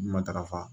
Matarafa